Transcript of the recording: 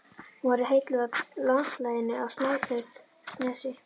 Hún verður heilluð af landslaginu á Snæfellsnesi.